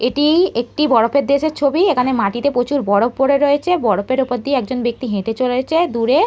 এটি-ই একটি বরফের দেশের ছবি এখানে মাটিতে প্রচুর বরফ পরে রয়েছে বরফের ওপর দিয়ে একজন ব্যক্তি হেঁটে চলেছে দূরে--